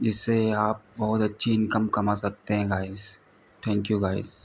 जिस से आप बहुत अच्छी इनकम कमा सकतें हैं गाइस । Thank you guys.